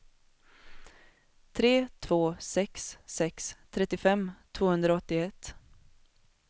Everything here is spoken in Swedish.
tre två sex sex trettiofem tvåhundraåttioett